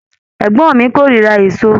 Ẹgbọn mi korira èso